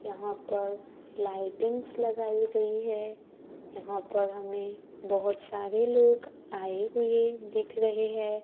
यहां पर लाइटिंग्स लगाई गई है यहां पर हमें बहोत सारे लोग आए हुए दिख रहे है।